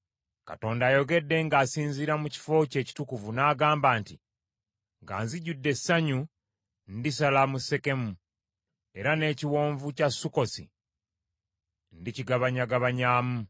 Katonda ayogedde ng’asinziira mu kifo kye ekitukuvu n’agamba nti, “Nga nzijudde essanyu, ndisala mu Sekemu, era n’Ekiwonvu kya Sukkosi ndikigabanyagabanyaamu.